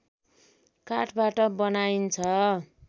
काठबाट बनाइन्छ